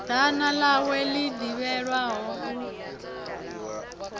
ḓana ḽawe ḽi ḓivhelwaho u